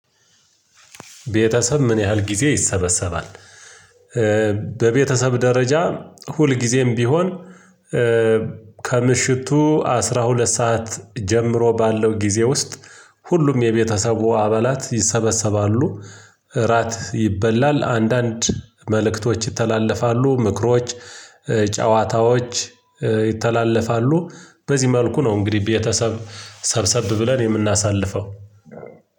ቤተሰብ ምን ያህል ጊዜ ይሰበሰባል? በቤተሰብ ደረጃ ሁል ጊዜም ቢሆን። ከምሽቱ አስራ ሁለት ሰዓት ጀምሮ ባለው ጊዜ ውስጥ ሁሉም የቤተሰቡ አባላት ይሰበሰባሉ። እራት ይበላል አንዳንድ መልእክቶች ይተላለፋሉ ምክሮች። ጨዋታዎች ይተላለፋሉ በዚህ መልኩ ነው። እንግዲህ ቤተሰብ ሰብሰብ ብለን የምናሳልፈው።